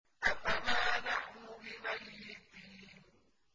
أَفَمَا نَحْنُ بِمَيِّتِينَ